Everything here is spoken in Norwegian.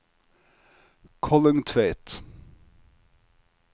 Kollungtveit